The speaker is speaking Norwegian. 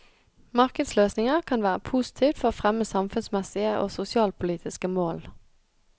Markedsløsninger kan være positivt for å fremme samfunnsmessige og sosialpolitiske mål.